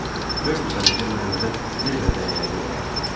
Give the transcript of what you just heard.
Görmürsən bizim məhəllədə nə qədər dəyənəkli var?